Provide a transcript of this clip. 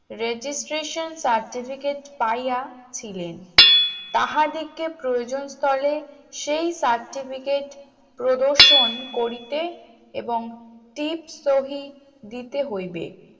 registration certificate পাইয়া ছিলেন তাহাদিকে প্রয়োজনস্তলে সেই certificate প্রদর্শন করিতে এবং টিপ সহিত দিতে হইবে